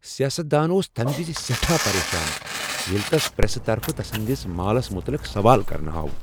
سیاست دان اوس تمہ وز سیٹھا پریشان ییٚلہ تس پریسہٕ طرفہٕ تسٕندس مالس متعلق سوال کرنہٕ آو۔